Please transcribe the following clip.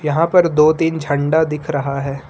यहां पर दो तीन झंडा दिख रहा है।